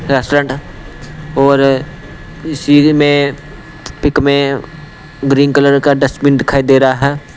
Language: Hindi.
रेस्टोरेंट और इसी में पिक में ग्रीन कलर का डस्टबिन दिखाई दे रहा है।